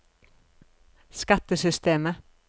skattesystemet